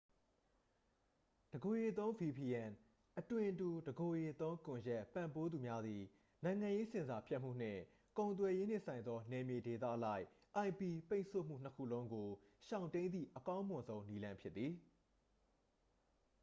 တစ်ကိုယ်ရေသုံး vpn အသွင်တူ တစ်ကိုယ်ရေသုံးကွန်ရက် ပံ့ပိုးသူများသည် နိုင်ငံရေးဆင်ဆာဖြတ်မှုနှင့် ကုန်သွယ်ရေးနှင့်ဆိုင်သော နယ်မြေဒေသအလိုက် ip ပိတ်ဆို့မှုနှစ်ခုလုံးကို ရှောင်တိမ်းသည့် အကောင်းမွန်ဆုံးသော နည်းလမ်းဖြစ်သည်။